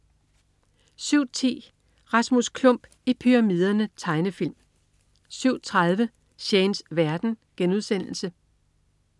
07.10 Rasmus Klump i pyramiderne. Tegnefilm 07.30 Shanes verden*